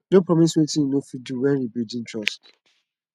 no promise wetin yu no fit do wen rebuilding trust